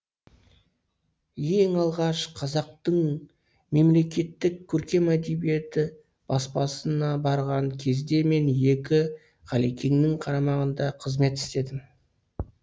ең алғаш қазақтың мемлекеттік көркем әдебиеті баспасына барған кезде мен екі ғалекеңнің қарамағында қызмет істедім